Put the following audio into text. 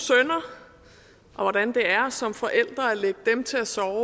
hvordan det er som forældre at lægge dem til at sove